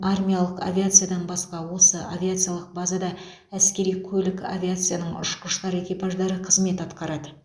армиялық авиациядан басқа осы авиациялық базада әскери көлік авиацияның ұшқыштар экипаждары қызмет атқарады